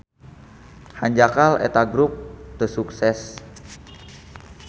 Hanjakal eta grup teu sukses.